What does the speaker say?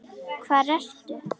Hvar ertu?